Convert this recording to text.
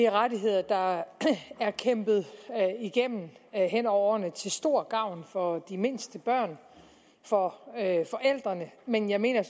rettigheder der er kæmpet igennem hen over årene til stor gavn for de mindste børn for forældrene men jeg mener